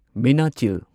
Meenachil